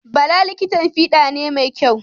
Bala likitan fiɗa ne mai kyau.